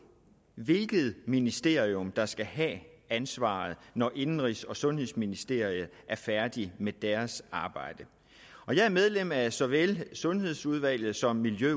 hvilket ministerium der skal have ansvaret når indenrigs og sundhedsministeriet er færdige med deres arbejde og jeg er medlem af såvel sundhedsudvalget som miljø